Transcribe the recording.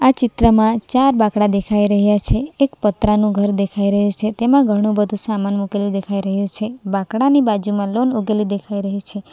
ચિત્રમાં ચાર બાકડા દેખાઈ રહ્યા છે એક પતરાનું ઘર દેખાઈ રહ્યુ છે તેમાં ઘણું બધું સામાન મુકેલુ દેખાઈ રહ્યું છે બાકડાની બાજુમાં લોન ઉગેલી દેખાઈ રહી છે.